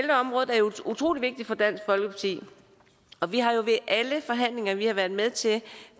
utrolig vigtigt for dansk folkeparti og vi har jo ved alle de forhandlinger vi har været med til